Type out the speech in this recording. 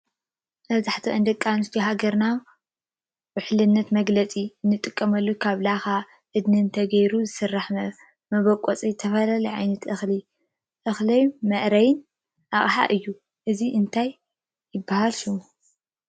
መብዝሐተን ደቂ አነስትዮ ሃገርና ውሕልነት መግለፂ እነጥቀመሉ ካብ ላካ አድንትን ተይሩ ዝሰራሕ መበቆፂ ዝተፈላለዮ ዓይነታት እክሊ እከሊ መእረይ አቅሐ አዮ ። እዚ እንታይ ይበሃል ሽሙ?